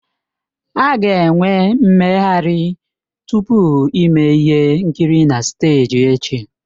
A ga-enwe mmeghari tupu ime ihe nkiri na steeji echi.